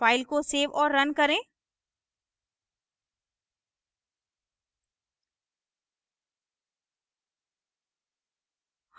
file को save और run करें